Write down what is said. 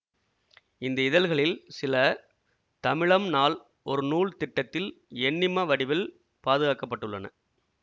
இந்த இதழ்களில் சில தமிழம் நாள் ஒரு நூல் திட்டத்தில் எண்ணிம வடிவில் பாதுகாக்க பட்டுள்ளன